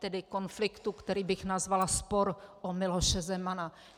Tedy konfliktu, který bych nazvala "spor o Miloše Zemana".